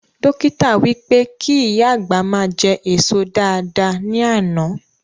Dọ́kítà wí pé kí ìyá àgbà ma jẹ èso dáadáa ní àná